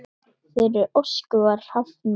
Þeirri ósk var hafnað.